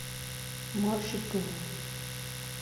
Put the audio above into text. можга